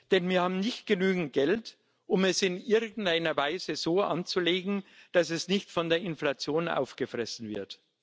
Denn wir haben nicht genügend Geld, um es in irgendeiner Weise so anzulegen, dass es nicht von der Inflation aufgefressen wird.